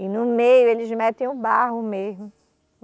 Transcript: E no meio eles metem o barro mesmo.